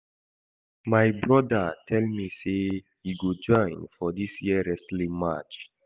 My broda tell me say he go join for dis year wrestling match